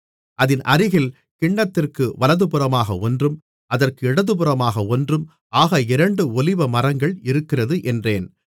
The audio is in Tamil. அதின் அருகில் கிண்ணத்திற்கு வலதுபுறமாக ஒன்றும் அதற்கு இடதுபுறமாக ஒன்றும் ஆக இரண்டு ஒலிவமரங்கள் இருக்கிறது என்றேன்